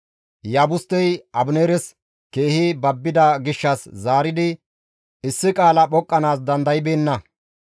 Iyaabustey Abineeres keehi babbida gishshas zaaridi issi qaala phoqqanaas dandaybeenna.